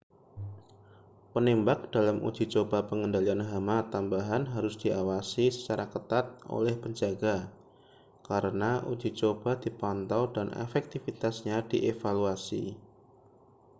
penembak dalam uji coba pengendalian hama tambahan harus diawasi secara ketat oleh penjaga karena uji coba dipantau dan efektivitasnya dievaluasi